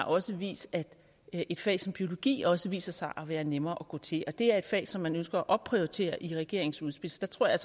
også har vist at et fag som biologi også viser sig at være nemmere at gå til det er et fag som man ønsker at opprioritere i regeringens udspil så der tror jeg